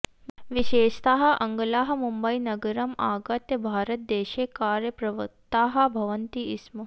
विशेषतः आङ्ग्लाः मुम्बईनगरम् आगत्य भारतदेशे कार्यप्रवृत्ताः भवन्ति स्म